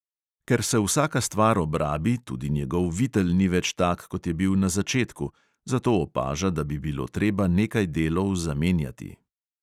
Ker se vsaka stvar obrabi, tudi njegov vitel ni več tak, kot je bil na začetku, zato opaža, da bi bilo treba nekaj delov zamenjati.